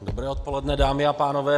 Dobré odpoledne, dámy a pánové.